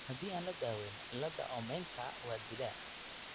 Haddii aan la daweyn, cillada Omennka waa dilaa.